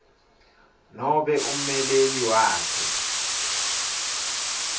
nobe ummeleli wakhe